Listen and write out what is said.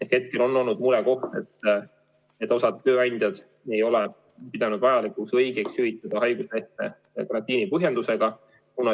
Hetkel on olnud murekoht, et osa tööandjaid ei ole pidanud vajalikuks ja õigeks hüvitada haiguslehte karantiinipõhjendusega.